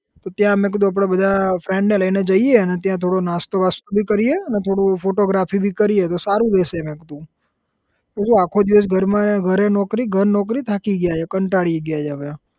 તો ત્યાં અમે કીધું આપડે બધા friend ને લઇને જઈએ અને ત્યાં થોડો નાસ્તો બાસ્તો ભી કરીએ અને થોડું photography ભી કરીએ તો સારું રહેશે મેં કીધું તો શુ આખો દિવસ ઘરમાં ઘરે નોકરી ઘર નોકરી થાકી ગયા છે કંટાળી ગયા છે હવે